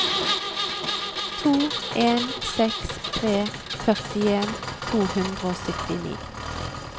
to en seks tre førtien to hundre og syttini